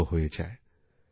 দীর্ঘ হয়ে যায়